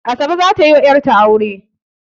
Asabe za ta yi wa 'yatra aure